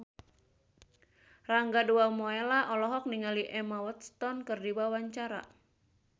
Rangga Dewamoela olohok ningali Emma Watson keur diwawancara